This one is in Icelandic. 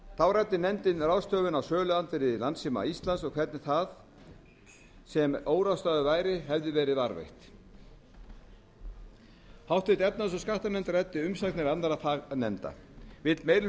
þá ræddi nefndin ráðstöfun á söluandvirði landssíma íslands h f og hvernig það sem óráðstafað væri hefði verið varðveitt háttvirtrar efnahags og skattanefnd ræddi umsagnir annarra fagnefnda vill meiri